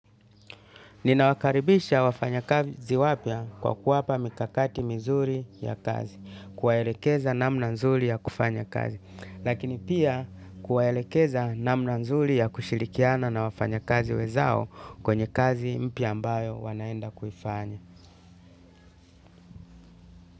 Ninawakaribisha wafanya kazi wapya kwa kuwapa mikakati mizuri ya kazi, kuwaelekeza namna nzuri ya kufanya kazi, lakini pia kuwaelekeza namna nzuri ya kushirikiana na wafanya kazi wenzao kwenye kazi mpya ambayo wanaenda kuifanya.